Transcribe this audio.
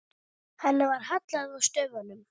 Henni var hallað að stöfum.